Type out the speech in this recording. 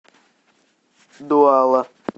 дуала